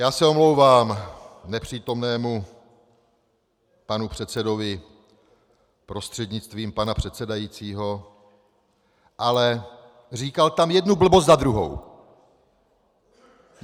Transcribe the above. Já se omlouvám nepřítomnému panu předsedovi prostřednictvím pana předsedajícího, ale říkal tam jednu blbost za druhou!